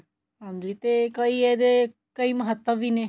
ਹਾਂਜੀ ਤੇ ਕਈ ਇਹਦੇ ਕਈ ਮਹੱਤਵ ਵੀ ਨੇ